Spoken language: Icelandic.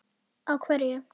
Á hverju?